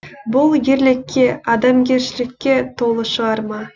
бұл ерлікке адамгершілікке толы шығарма